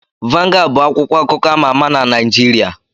Vangad bụ akwụkwọ akụkọ ama ama na Naijiria.